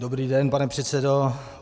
Dobrý den, pane předsedo.